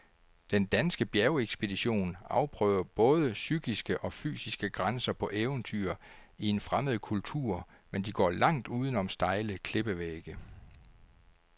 Den danske bjergekspedition afprøver både psykiske og fysiske grænser på eventyr i en fremmed kultur, men de går langt uden om stejle klippevægge.